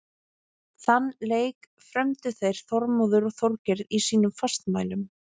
Þann leik frömdu þeir Þormóður og Þorgeir í sínum fastmælum.